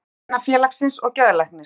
Hundavinafélagsins og geðlæknir.